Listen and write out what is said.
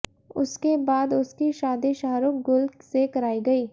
उसके बाद उसकी शादी शाहरुख गुल से कराई गई